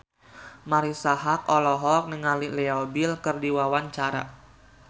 Marisa Haque olohok ningali Leo Bill keur diwawancara